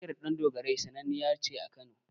Muryar Ɗandogarai sannaniya ce a Jihar Kano.